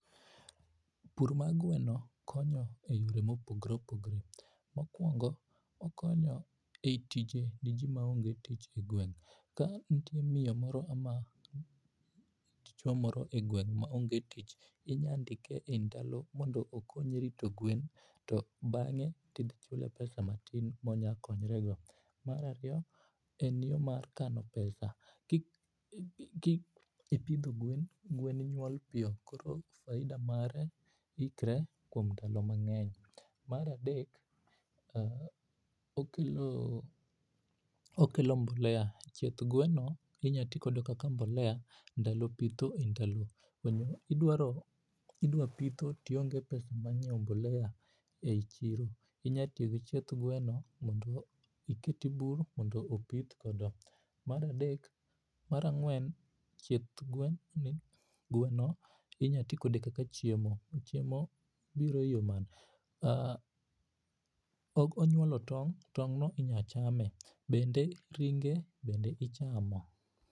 Pur mar gweno konyo e yore mopogore opogore, mokuongo okonyo e tije ne jii maonge tich e gweng. Ka nitie miyo moro ama dichuo moro e gweng maonge tich inya ndike e ndalo mondo okonyi rito gwen bange to ichule pesa matin ma onyalo ritore go. Mar ariyo en yoo mar kano pesa. Kipidho gweno, gwen nyuol piyo koro faida mare ikre kuom ndalo mangeny. Mar adek, okelo, okelo mbolea, chieth gweno inya tigodo kaka mbolea ndalo pitho e ndalo, idwaro ,idwa pitho tionge pesa mar nyiew mbolea e chiro inya tiyo gi chieth gweno mondo iket e bur mondo opith godo. Mar adek, mar angwen, chieth gwen ni, gweno, inya tii kode kaka chiemo, chiemo biro e yoo mane, aah, obo nyuolo tong, tongno inya chame, bende ringe bende ichamo